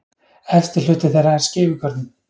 Efsti hluti þeirra er skeifugörnin.